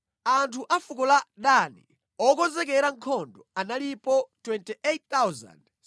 Anthu a fuko la Dani, okonzekera nkhondo analipo 28,600.